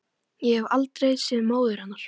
Ég hef aldrei séð móður hennar